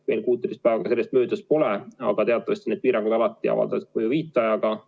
Veel 16 päeva sellest möödas pole, aga teatavasti piirangud alati avaldavad mõju viitajaga.